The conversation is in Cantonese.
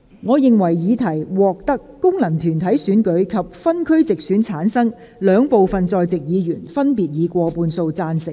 我認為議題獲得經由功能團體選舉產生及分區直接選舉產生的兩部分在席議員，分別以過半數贊成。